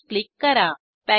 close click करा